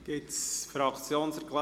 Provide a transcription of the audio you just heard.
Gibt es Fraktionserklärungen?